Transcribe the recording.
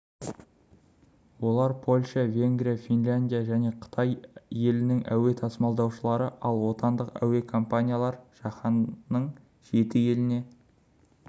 олар польша венгрия финляндия және қытай елінің әуе тасымалдаушылары ал отандық әуе компаниялар жаһанның жеті еліне